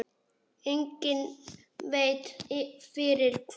Enginn veit fyrir hvað.